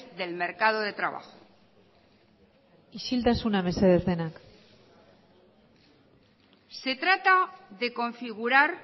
del mercado de trabajo isiltasuna mesedez denak se trata de configurar